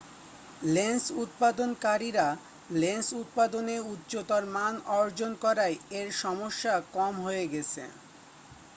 lens উৎপাদন কারীরা lens উৎপাদনে উচ্চতর মান অর্জন করায় এর সমস্যা কম হয়ে গেছে